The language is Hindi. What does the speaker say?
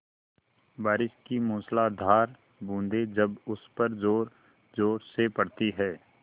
बारिश की मूसलाधार बूँदें जब उस पर ज़ोरज़ोर से पड़ती हैं